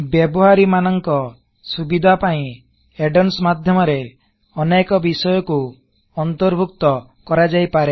ବ୍ୟବହାରୀ ମାନକଂ ସୁବିଧା ପାଇଁ ଏଦ ଓନସ୍ ମାଧ୍ୟମରେ ଅନେକ ବିଷୟକୁ ଅନ୍ତରଭୁକ୍ତ କରାଯାଇପାରେ